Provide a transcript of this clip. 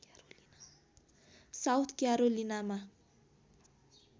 south क्यारोलिनामा